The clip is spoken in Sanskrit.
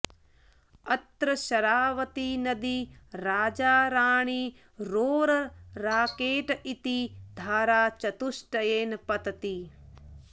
अत्र शरावतीनदी राजा राणी रोरर् राकेट् इति धाराचतुष्टयेन पतति